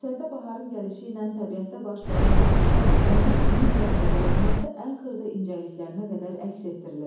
Əsərdə baharın gəlişi ilə təbiətdə baş verən canlanma, onun min rəngə boyanması ən xırda incəliklərinə qədər əks etdirilib.